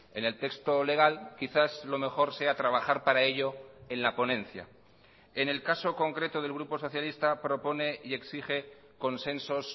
en el texto legal quizás lo mejor sea trabajar para ello en la ponencia en el caso concreto del grupo socialista propone y exige consensos